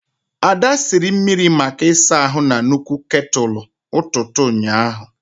Ada siri mmiri maka ịsa ahu na nnukwu ketulu ututu ụnyaahụ.